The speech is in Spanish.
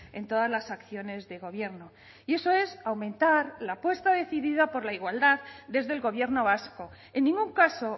en todas las acciones de gobierno y eso es aumentar la apuesta decidida por la igualdad desde el gobierno vasco en ningún caso